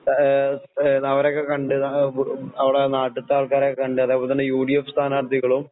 ആഹ് അവരെയൊക്കെകണ്ട് ആം അവിടെനാട്ടിത്തേ ആൾക്കാരെക്കണ്ട് അതേപോലെതന്നെ യുഡിഎഫ് സ്ഥാനാർത്ഥികളും